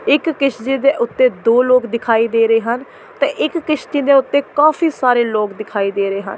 ਇੱਕ ਕਿਸ਼ਤੀ ਤੇ ਉੱਤੇ ਦੋ ਲੋਕ ਦਿਖਾਈ ਦੇ ਰਹੇ ਹਨ ਤੇ ਇੱਕ ਕਿਸ਼ਤੀ ਦੇ ਉੱਤੇ ਕਾਫੀ ਸਾਰੇ ਲੋਕ ਦਿਖਾਈ ਦੇ ਰਹੇ ਹਨ ਇਹ।